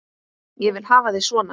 Ég vil hafa þig svona.